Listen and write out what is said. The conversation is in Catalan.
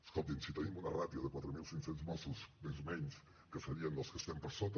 escolti’m si tenim una ràtio de quatre mil cinc cents mossos més o menys que serien dels que estem per sota